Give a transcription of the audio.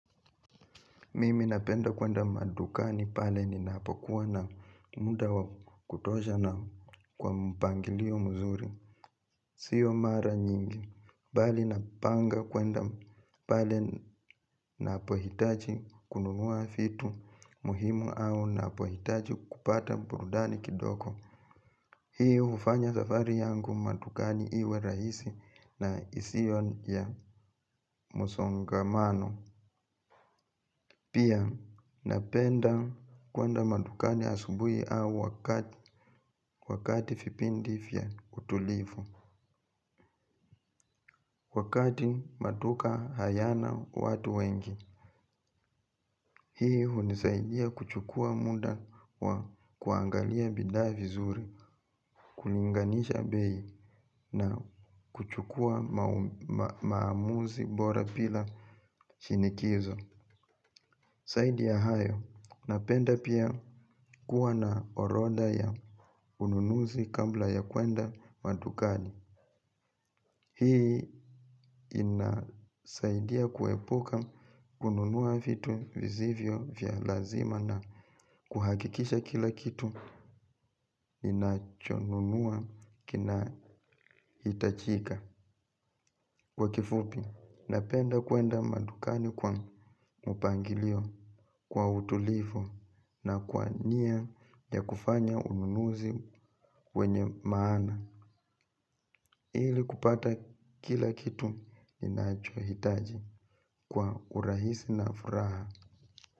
Mimi napenda kuenda madukani pale ninapokuwa na muda wa kutosha na kwa mpangilio mzuri. Sio mara nyingi. Bali napanga kwenda pale napohitaji kununua vitu muhimu au napohitaji kupata burudani kidogo. Hiyo hufanya safari yangu madukani iwe rahisi na isiyo ya msongamano. Pia napenda kuenda madukani asubui au wakati vipindi vya utulivu. Wakati maduka hayana watu wengi. Hii hunisaidia kuchukua muda wa kuangalia bidhaa vizuri. Kulinganisha bei na kuchukua maamuzi bora bila shinikizo zaidi ya hayo, napenda pia kuwa na orodha ya ununuzi kabla ya kuenda madukani. Hii inasaidia kuepuka kununua vitu visivyo vya lazima na kuhakikisha kila kitu ninachonunua kina hitajika. Kwa kifupi, napenda kuenda madukani kwa mpangilio kwa utulivu na kwa nia ya kufanya ununuzi wenye maana. Ili kupata kila kitu ninacho hitaji kwa urahisi na furaha.